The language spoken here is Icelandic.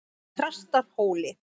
Þrastarhóli